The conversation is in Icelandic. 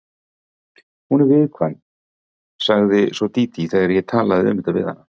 Hún er viðkvæm, sagði svo Dídí þegar ég talaði um þetta við hana.